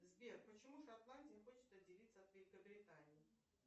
сбер почему шотландия хочет отделиться от великобритании